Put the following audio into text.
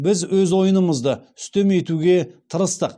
біз өз ойынымызды үстем етуге тырыстық